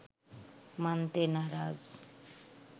মানতে নারাজ